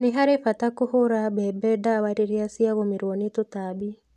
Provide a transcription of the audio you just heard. Nĩ harĩ bata kũhũra mbembe ndawa rĩrĩa cia gũmĩrwo nĩ tũtambi.